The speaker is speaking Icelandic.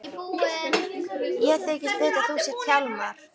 Ég þykist vita að þú sért Hjálmar.